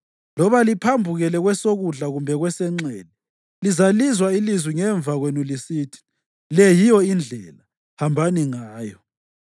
Loba liphambukele kwesokudla kumbe kwesenxele lizalizwa ilizwi ngemva kwenu lisithi, “Le yiyo indlela; hambani ngayo.”